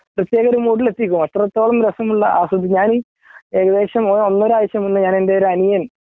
അത്രത്തോളം രസമുള്ള ആസ്വദിച്ചു ഞാനീ ഏകദേശം അന്നൊരാഴ്ച്ച മുന്നേഞാൻ എൻ്റെ ഒരനിയൻ